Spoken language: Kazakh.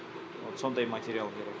вот сондай материал керек